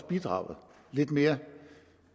bidrog lidt mere